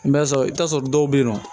N bɛ sɔrɔ i bɛ t'a sɔrɔ dɔw bɛ yen nɔ